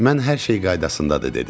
Mən hər şey qaydasındadır dedim.